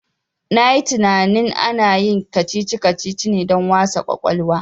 Na yi tinanin ana yin kacici kacici ne don a wasa kwakwalwa